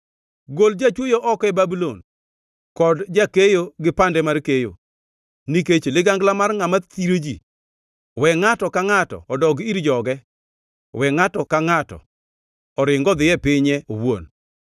Gol jachwoyo oko e Babulon, kod jakeyo gi pande mar keyo. Nikech ligangla mar ngʼama thiro ji we ngʼato ka ngʼato odog ir joge, we ngʼato ka ngʼato oringi odhi e pinye owuon.